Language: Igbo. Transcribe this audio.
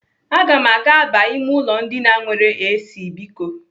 Aga m aga aba ime ụlọ ndina nwere AC biko.